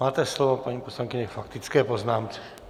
Máte slovo, paní poslankyně, k faktické poznámce.